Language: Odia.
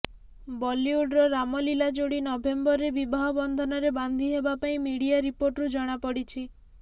ବଲିଉଡ଼ର ରାମଲୀଲା ଯୋଡ଼ି ନଭେମ୍ବରରେ ବିବାହ ବନ୍ଧନରେ ବାନ୍ଧି ହେବା ନେଇ ମିଡ଼ିଆ ରିପୋର୍ଟରୁ ଜଣାପଡ଼ିଛି